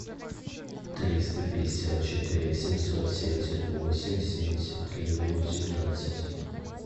триста пятьдесят четыре семьсот семьдесят восемь семьдесят три восемнадцать